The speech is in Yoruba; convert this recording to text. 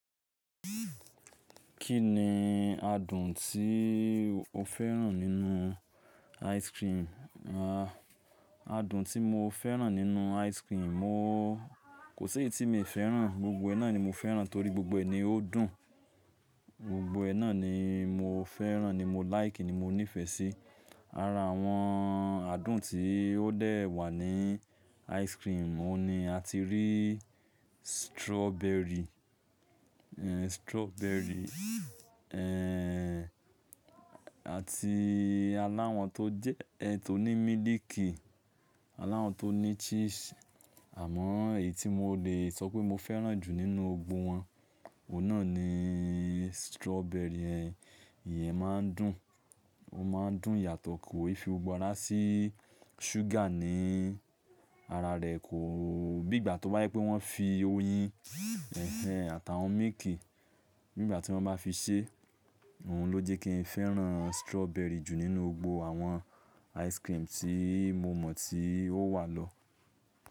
Kí ni adùn tí o fẹ́ràn nínú ice cream? Adùn tí mo fẹ́ràn nínú ice cream, mo kò sí èyí tí mi ò fẹ́ràn, gbogbo ẹ náà ni mo fẹ́ràn torí gbogbo ẹ ní ó dùn. Gbogbo ẹ náà ni mo fẹ́ràn ni mo like ni mo nífẹ̀ẹ́ sí. Ara àwọn adùn tí ó dé wà ní ice cream, mo ní a ti rí strawberry, e strawberry, e àti aláwọ̀ tó jẹ́ ẹ tó ní miliki, aláwọ̀ tó ní cheese. Àmọ́ èyí tí mo lè sọ pé mo fẹ́ràn jù nínú gbogbo wọn, òun náà ni strawberry yen Ẹ̀yẹn máa ń dùn, ó máa ń dùn yàtọ̀ kí o fi gbogbo ara sí ṣúgà ní ara rẹ̀ kò. Bí ìgbà tó bá jé pé wọ́n fi oyin èéhèn àtàwọn milkì, nígbà tí wọ́n bá fi ṣe, òun ló jẹ́ kí n fẹ́ràn strawberry jù nínú gbogbo àwọn ice cream tí mo mọ̀ tí ó wà lọ.